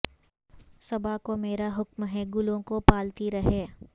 صبا کو میرا حکم ہے گلوں کو پالتی رہے